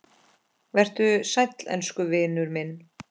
Vertu sæll elsku vinur minn.